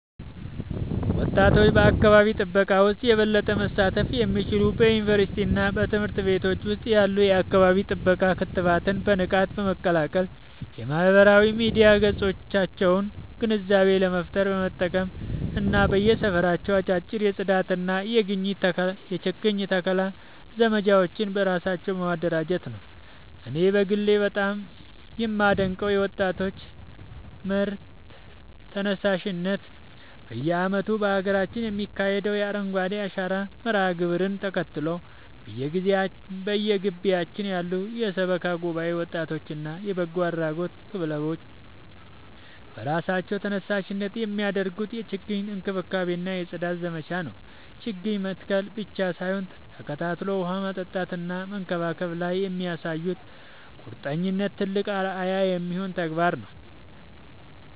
ወጣቶች በአካባቢ ጥበቃ ውስጥ የበለጠ መሳተፍ የሚችሉት በዩኒቨርሲቲዎችና በትምህርት ቤቶች ውስጥ ያሉ የአካባቢ ጥበቃ ክበባትን በንቃት በመቀላቀል፣ የማህበራዊ ሚዲያ ገጾቻቸውን ግንዛቤ ለመፍጠር በመጠቀም እና በየሰፈራቸው አጫጭር የጽዳትና የችግኝ ተከላ ዘመቻዎችን በራሳቸው በማደራጀት ነው። እኔ በግሌ በጣም የማደንቀው የወጣቶች መር ተነሳሽነት በየዓመቱ በሀገራችን የሚካሄደውን የአረንጓዴ አሻራ መርሃ ግብርን ተከትሎ፣ በየግቢያችን ያሉ የሰበካ ጉባኤ ወጣቶችና የበጎ አድራጎት ክለቦች በራሳቸው ተነሳሽነት የሚያደርጉትን የችግኝ እንክብካቤና የጽዳት ዘመቻ ነው። ችግኝ መትከል ብቻ ሳይሆን ተከታትሎ ውሃ ማጠጣትና መንከባከብ ላይ የሚያሳዩት ቁርጠኝነት ትልቅ አርአያ የሚሆን ተግባር ነው።